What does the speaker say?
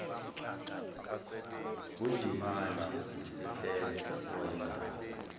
ngundimande nesihlenga owayengase